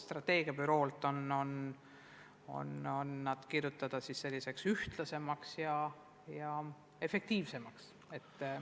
Strateegiabüroo ootab, et see dokument oleks ettepanekute poolest ühtlane ja tihe.